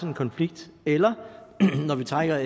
en konflikt eller når vi trækker